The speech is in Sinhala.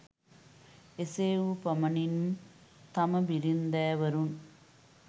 එසේ වූ පමණින් තම බිරින්දෑවරුන්